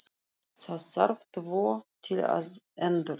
Það þarf tvo til að endur